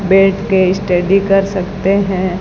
बैठ के स्टडी कर सकते हैं।